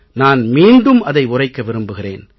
நான் மீண்டும் அதை உரைக்க விரும்புகிறேன்